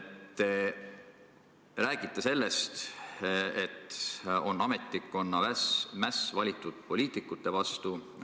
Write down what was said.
Te räägite, et on ametnikkonna mäss valitud poliitikute vastu.